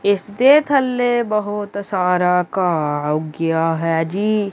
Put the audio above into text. ਇੱਸ ਦੇ ਥੱਲੇ ਬਹੁਤ ਸਾਰਾ ਘਾਹ ਉੱਗਿਆ ਹੈ ਜੀ।